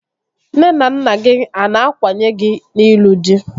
Nne na nna gị a na-akwanye gị n'ịlụ dị?